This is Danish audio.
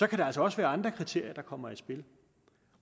kan der altså også være andre kriterier der kommer i spil